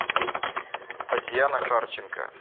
татьяна харченко